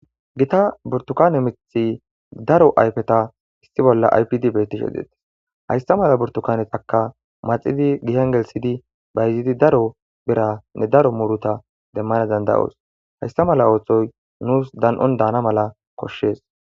gita burtukane mithi daro aypeta issi bolla aypd bettishe deettes haysta mala burtukanetakka maxidi gihan gelsidi bayzidi daro bera ne daro muuruta demmana danda7os haysta mala ooththoy nuus dan7on daana mala koshshees